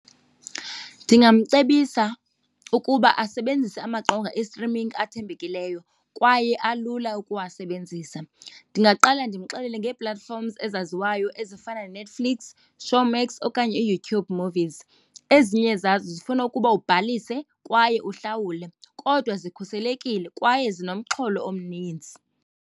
Ndingamcebisa ukuba asebenzise amaqonga e-streaming athembekileyo kwaye alula ukuwasebenzisa. Ndingaqala ndimxelele ngee-platforms ezaziwayo ezifana neNetflix, Showmax okanye uYouTube movies. Ezinye zazo zifuna ukuba ubhalise kwaye uhlawule kodwa zikhuselekile kwaye zinomxholo omninzi.